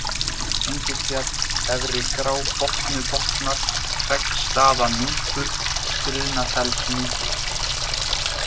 Engisfjall, Efri-Grábotnubotnar, Hreggstaðanúpur, Skriðnafellsnúpur